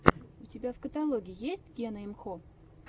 у тебя в каталоге есть гена имхо